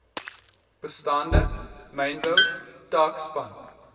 bestaande mynbou taakspan